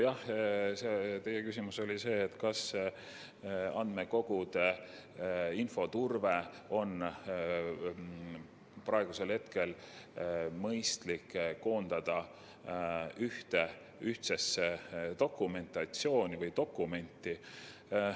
Jah, teie küsimus oli see, kas andmekogude infoturve oleks praegu mõistlik koondada ühtsesse dokumentatsiooni või dokumenti.